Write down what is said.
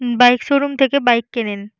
Bike showroom থেকে bike কেনেন।